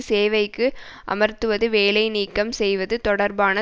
சேவைக்கு அமர்த்துவது வேலை நீக்கம் செய்வது தொடர்பான